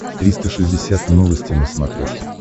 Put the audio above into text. триста шестьдесят новости на смотрешке